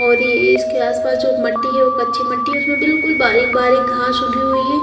और ये इसके आसपास जो मट्टी है वो कच्ची मट्टी है उसमें बिल्कुल बारीक बारीक घास उगी हुई है।